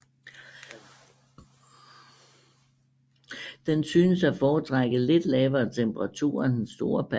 Den synes at foretrække lidt lavere temperaturer end den store panda